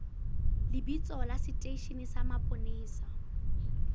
lebitso la seteishene sa mapolesa